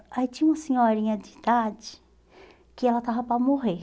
Aí tinha uma senhorinha de idade que ela estava para morrer.